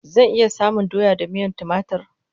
Zan iya samun doya da miyan timatur?